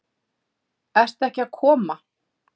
Ert ekki að koma?